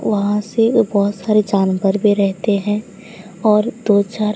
वहां से बहोत सारे जानवर भी रहते हैं और दो चार--